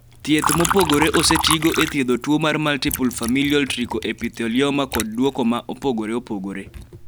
thieth mopogore osetigo e thiedho tuo mar multiple familial trichoepithelioma kod dwoko ma opogore opogore